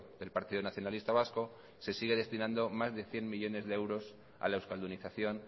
del partido nacionalista vasco se sigue destinando más de cien millónes de euros a la euskaldunización